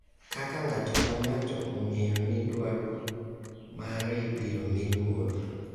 Kaka ng’ato ka ng’ato ong’eyo ni dwaro mare ibiro mi luor,